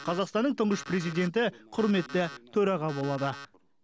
қазақстанның тұңғыш президенті құрметті төраға болады